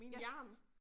Ja